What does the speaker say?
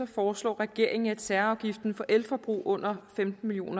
foreslår regeringen at særafgiften for elforbrug på under femten million